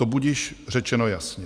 To budiž řečeno jasně.